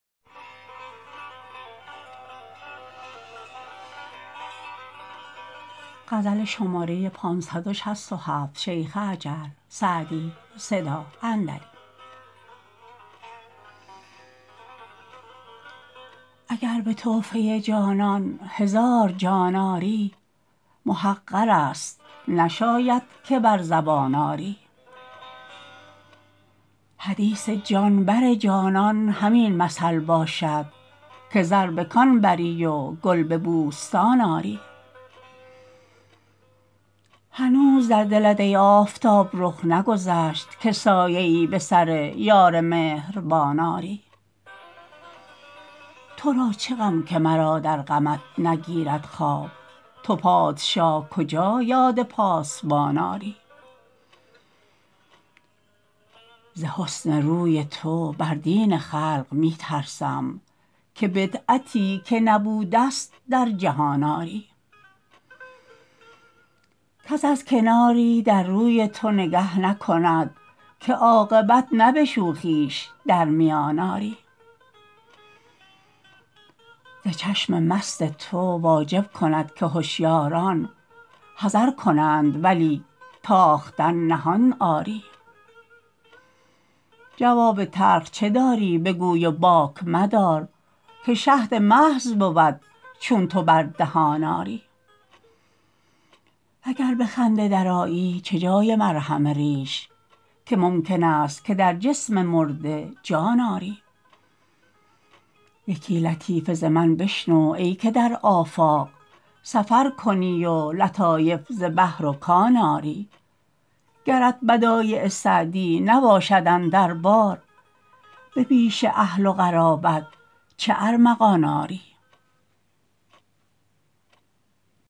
اگر به تحفه جانان هزار جان آری محقر است نشاید که بر زبان آری حدیث جان بر جانان همین مثل باشد که زر به کان بری و گل به بوستان آری هنوز در دلت ای آفتاب رخ نگذشت که سایه ای به سر یار مهربان آری تو را چه غم که مرا در غمت نگیرد خواب تو پادشاه کجا یاد پاسبان آری ز حسن روی تو بر دین خلق می ترسم که بدعتی که نبوده ست در جهان آری کس از کناری در روی تو نگه نکند که عاقبت نه به شوخیش در میان آری ز چشم مست تو واجب کند که هشیاران حذر کنند ولی تاختن نهان آری جواب تلخ چه داری بگوی و باک مدار که شهد محض بود چون تو بر دهان آری و گر به خنده درآیی چه جای مرهم ریش که ممکن است که در جسم مرده جان آری یکی لطیفه ز من بشنو ای که در آفاق سفر کنی و لطایف ز بحر و کان آری گرت بدایع سعدی نباشد اندر بار به پیش اهل و قرابت چه ارمغان آری